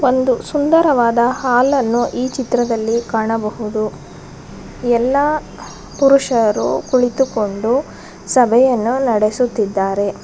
ಒಂದು ಸುಂದರವಾದ ಹಾಲನ್ನು ಚಿತ್ರದಲ್ಲಿ ಕಾಣಬಹುದು ಎಲ್ಲಾ ಪುರುಷರು ಕುಳಿತುಕೊಂಡು ಸಭೆಯನ್ನು ನಡೆಸುತ್ತಿದ್ದರೆ.